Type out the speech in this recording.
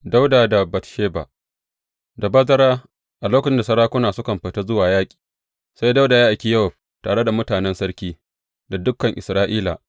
Dawuda da Batsheba Da bazara, a lokacin da sarakuna sukan fita zuwa yaƙi, sai Dawuda ya aiki Yowab tare da mutanen sarki, da dukan Isra’ila.